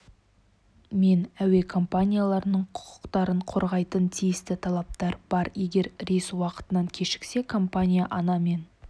мен әуе компанияларының құқықтарын қорғайтын тиісті талаптар бар егер рейс уақытынан кешіксе компания ана мен